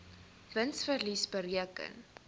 wins verlies bereken